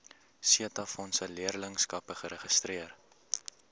setabefondse leerlingskappe geregistreer